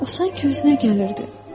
O sanki özünə gəlirdi.